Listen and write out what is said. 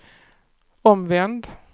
omvänd